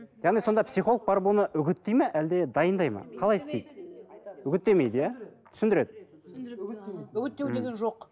яғни сонда психолог барып оны үгіттейді ме әлде дайындайды ма қалай істейді үгіттемейді иә түсіндіреді үгіттеу деген жоқ